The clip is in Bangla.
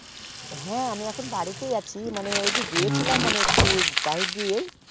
হ্যাঁ আমি একটু বাড়িতেই আছি কিন্তু একটু এদিকে এসিলাম